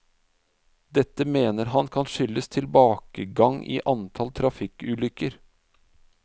Dette mener han kan skyldes tilbakegang i antall trafikkulykker.